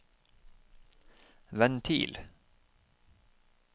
ventil